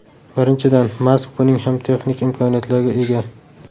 Birinchidan, Mask buning uchun texnik imkoniyatlarga ega.